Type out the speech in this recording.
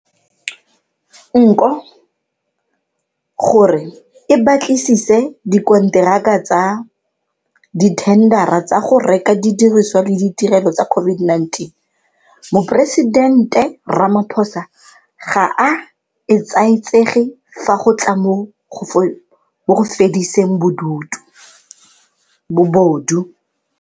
Nko, gore e batlisise dikonteraka tsa dithendara tsa go reka didirisiwa le ditirelo tsa COVID-19, Moporesidente Ramaphosa ga a etsaetsege fa go tla mo go fediseng bobodu.